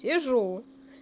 сижу